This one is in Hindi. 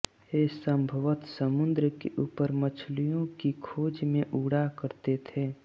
ये संभवत समुद्र के ऊपर मछलियों की खोज में उड़ा करते थे